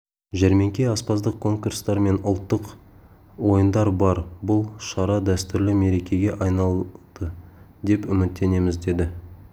жәрмеңке аспаздық конкурстар мен ұлттық ойындар бар бұл шара дәстүрлі мерекеге айналады деп үміттенеміз деді